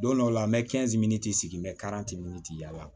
Don dɔw la n bɛ sigi n bɛ yaala